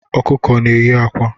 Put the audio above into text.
Ọkụkọ na enyi akwa